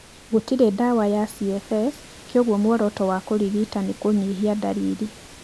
Gũtirĩ ndawa ya CFS koguo mũoroto wa kũrigita nĩ kũnyihia ndariri.